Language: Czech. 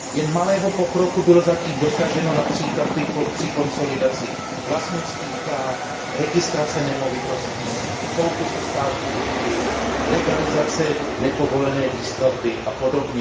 Jen malého pokroku bylo zatím dosaženo např. při konsolidaci vlastnických práv, registrace nemovitostí, soupisu státní půdy, legalizace nepovolené výstavby apod.